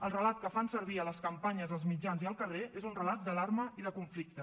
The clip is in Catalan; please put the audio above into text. el relat que fan servir a les campanyes als mitjans i al carrer és un relat d’alarma i de conflicte